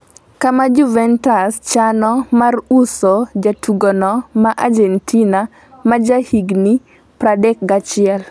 kama Juventus chano mar uso jatugono ma Agentina ma jahigni 31.